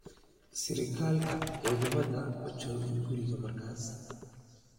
Sargaalka ciidamada ma joogin guriga markaas.